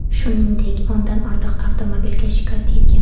Shuningdek, o‘ndan ortiq avtomobilga shikast yetgan.